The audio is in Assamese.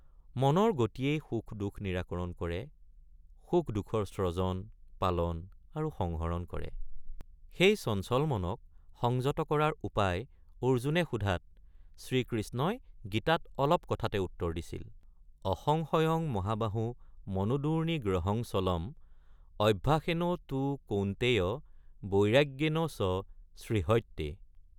মনৰ গতিয়েই সুখদুখ নিৰাকৰণ কৰে সুখ দুখৰ স্ৰজন পালন আৰু সংহৰণ কৰে ৷ সেই চঞ্চল মনক সংযত কৰাৰ উপায় অৰ্জুনে সোধাত শ্ৰীকৃষ্ণই গীতাত অলপ কথাতে উত্তৰ দিছিল— অসংশয়ং মহাবাহে৷ মনোদুৰ্নি গ্ৰহং চলম্ অভ্যাসেন তু কৌন্তেয় বৈৰাগ্যেন চ সৃহ্যতে।